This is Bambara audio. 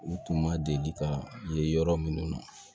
U tun ma deli ka ye yɔrɔ minnu na